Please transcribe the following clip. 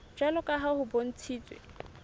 jwalo ka ha ho bontshitswe